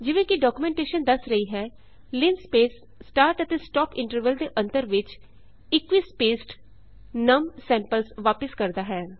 ਜਿਵੇਂ ਕਿ ਡੌਕਯੂਮੈਂਟੇਸ਼ਨ ਦਸ ਰਹੀ ਹੈ ਲਿੰਸਪੇਸ ਸਟਾਰਟ ਅਤੇ ਸਟੌਪ ਇੰਟਰਵਲ ਦੇ ਅੰਤਰ ਵਿੱਚ ਇਕੁਇਸਪੇਸਡ ਨਮ ਸੈਂਪਲਸ ਵਾਪਿਸ ਕਰਦਾ ਹੈ